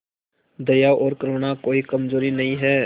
दया और करुणा कोई कमजोरी नहीं है